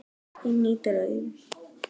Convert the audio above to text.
Inní draum.